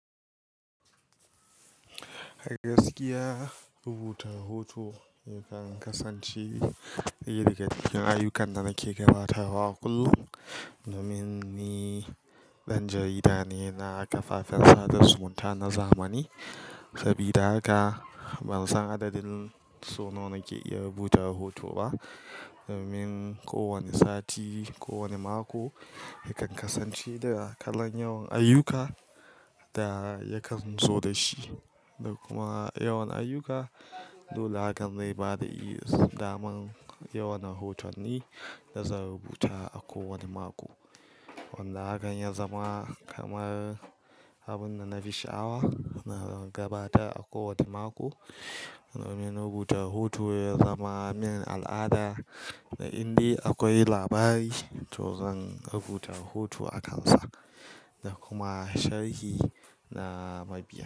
A gaskiya rubuta hoto yakan kasance iri ga dukkin ayyukan da nake gabatawa kullum, domin ni ɗan jarida ne na kafafen sada zumunta na zamani. Sabida haka ban san adadin so nawa nake iya rubuta rahoto ba, domin ko wane sati, ko wane mako yakan kasance da kalan yawan ayyuka da yakan zo da shi, da kuma yawan ayyuka. Dole hakan ne bada i, daman yawan hoton ne da zan rubuta a kowane mako. Wanda hakan ya zama kamar abun da na bi sha'awa na gabatar a kowane mako, domin rubuta rahoto ya zama min al'ada. Na inda akwai labari, to zan rubuta hoto akansa da kuma sharhi na mabiya.